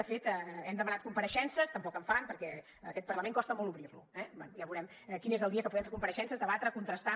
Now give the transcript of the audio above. de fet hem demanat compareixences tampoc en fan perquè aquest parlament costa molt obrir lo eh bé ja veurem quin és el dia que podem fer compareixences debatre contrastar